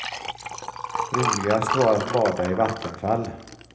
Roligast var att bada i vattenfall.